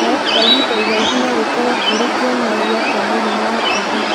Kũhaya kwa ihinda iraihu nogũkorwo kũrĩ kĩonererĩa kĩa mũrimũ wa TB